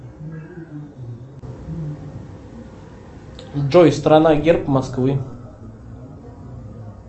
джой страна герб москвы